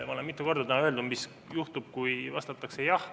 Ma olen täna mitu korda öelnud, mis juhtub, kui vastatakse jah.